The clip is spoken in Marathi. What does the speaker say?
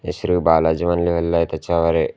हे श्री बालाजी म्हणून लिवलेल आहे त्याच्यावरे--